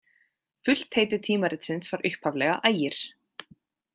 Fullt heiti tímaritsins var upphaflega Ægir.